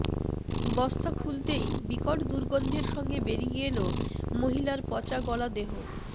বস্তা খুলতেই বিকট দুর্গন্ধের সঙ্গে বেরিয়ে এল মহিলার পচাগলা দেহ